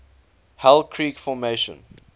hell creek formation